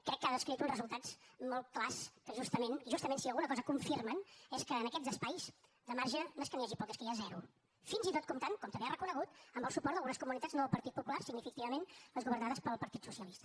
crec que ha descrit uns resultats molt clars que justament justament si alguna cosa confirmen és que en aquests espais de marge no és que n’hi hagi poc és que n’hi ha zero fins i tot comptant com també ha reconegut amb el suport d’algunes comunitats no del partit popular significativament les governades pel partit socialista